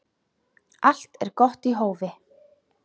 Allt er gott í hófi.